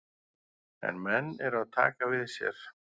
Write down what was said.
En menn eru að taka við sér.